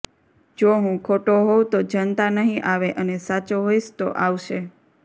જો હું ખોટો હોઉં તો જનતા નહીં આવે અને સાચો હોઇશ તો આવશે